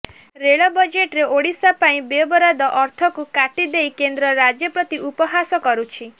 ରେଳ ବଜେଟରେ ଓଡିଶାପାଇଁ ବ୍ୟୟବରାଦ ଅର୍ଥକୁ କାଟିଦେଇ କେନ୍ଦ୍ର ରାଜ୍ୟ ପ୍ରତି ଉପହାସ କରୁଛି